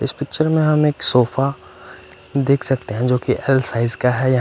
इस पिक्चर में हम एक सोफा देख सकते हैं जो कि एल साइज का है या--